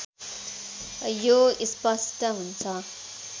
यो स्पष्ट हुन्छ